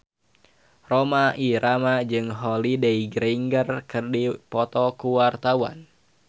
Rhoma Irama jeung Holliday Grainger keur dipoto ku wartawan